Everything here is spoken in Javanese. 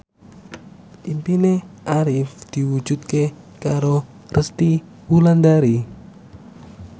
impine Arif diwujudke karo Resty Wulandari